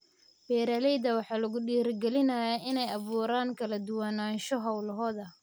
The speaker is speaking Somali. Beeralayda waxaa lagu dhiirigelinayaa inay abuuraan kala duwanaansho hawlahooda.